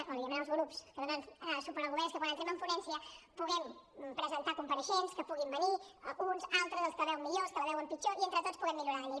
o li demanem als grups que donen suport al govern és que quan entrem en ponència puguem presentar compareixents que puguin venir uns altres els que la veuen millor els que la veuen pitjor i entre tots puguem millorar la llei